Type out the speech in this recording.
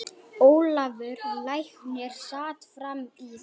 Ólafur læknir sat fram í.